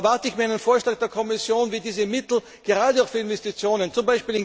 Da erwarte ich mir einen Vorschlag der Kommission, wie diese Mittel gerade auch für Investitionen z.